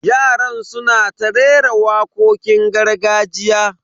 Yaran suna ta rera wakokin gargajiya.